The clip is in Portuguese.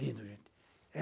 Lindo, gente.